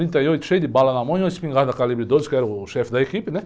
Um trinta e oito, cheio de bala na mão e uma espingarda calibre doze, que eu era o chefe da equipe, né?